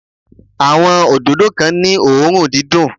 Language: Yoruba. Àwọn òdòdó kan ní òórùn dídùn.